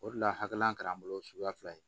O de la hakililan kɛra an bolo suguya fila ye